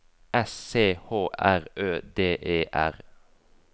S C H R Ø D E R